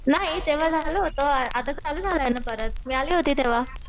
नाही तेंव्हा झालं होतं आताच चालू झालंय ना परत मी आले होते तेंव्हा.